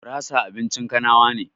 Gurasa abincin kanawa ne